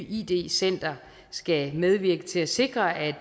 id center skal medvirke til at sikre at